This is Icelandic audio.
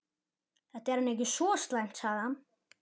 Þetta er nú ekki svo slæmt sagði hann.